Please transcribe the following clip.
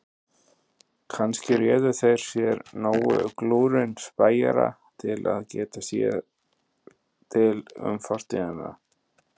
Kannski réðu þeir sér nógu glúrinn spæjara til að geta sér til um fortíðina.